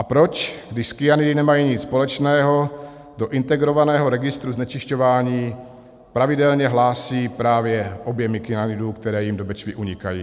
A proč, když s kyanidy nemají nic společného, do integrovaného registru znečišťování pravidelně hlásí právě objemy kyanidu, které jim do Bečvy unikají?